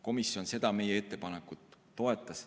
Komisjon seda meie ettepanekut toetas.